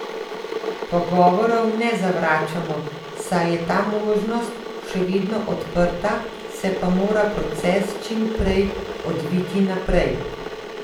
Pogovorov ne zavračamo, saj je ta možnost še vedno odprta, se pa mora proces čim prej odviti naprej.